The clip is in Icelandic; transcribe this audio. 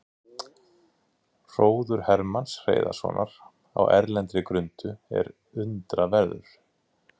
Hróður Hermanns Hreiðarssonar á erlendri grundu er undraverður.